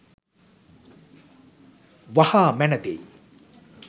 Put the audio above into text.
වහා මැන දෙයි.